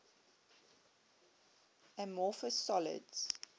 amorphous solids